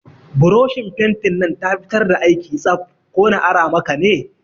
Buroshin fentin nan ta fitar da aiki tsaf, ko na ara maka ne?